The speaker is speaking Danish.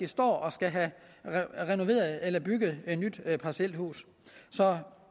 står og skal have renoveret eller bygget et nyt parcelhus så